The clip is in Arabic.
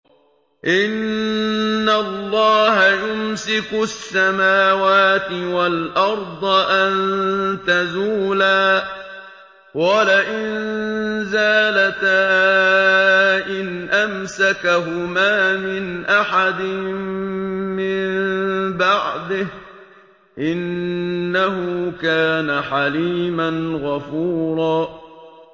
۞ إِنَّ اللَّهَ يُمْسِكُ السَّمَاوَاتِ وَالْأَرْضَ أَن تَزُولَا ۚ وَلَئِن زَالَتَا إِنْ أَمْسَكَهُمَا مِنْ أَحَدٍ مِّن بَعْدِهِ ۚ إِنَّهُ كَانَ حَلِيمًا غَفُورًا